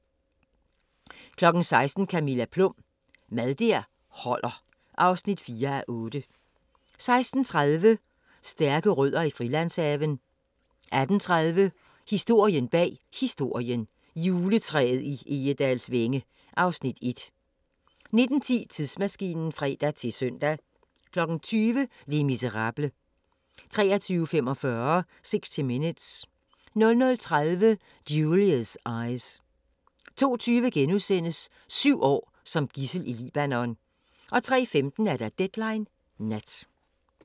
16:00: Camilla Plum – Mad der holder (4:8) 16:30: Stærke Rødder i Frilandshaven 18:30: Historien bag Historien: Juletræet i Egedalsvænge (Afs. 1) 19:10: Tidsmaskinen (fre-søn) 20:00: Les Misérables 23:45: 60 Minutes 00:30: Julia's Eyes 02:20: Syv år som gidsel i Libanon * 03:15: Deadline Nat